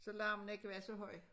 Så larmen ikke var så høj